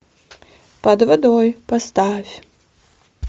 под водой поставь